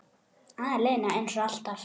Aleina, eins og alltaf.